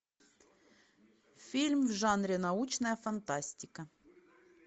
фильм в жанре научная фантастика